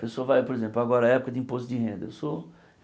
Pessoa vai por exemplo, agora é época de imposto de renda. Sou